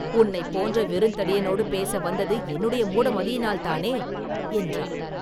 உன்னைப் போன்ற வெறுந்தடியனோடு பேச வந்தது என்னுடைய மூடமதியினால்தானே?” என்றார்.